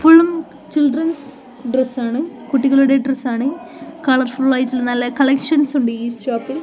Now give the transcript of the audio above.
ഫുള്ളും ചിൽഡ്രൻസ് ഡ്രസ്സാണ് കുട്ടികളുടെ ഡ്രസ്സാണ് കളർ ഫുള്ളായിട്ടുള്ള നല്ല കളക്ഷൻസുണ്ട് ഈ ഷോപ്പിൽ .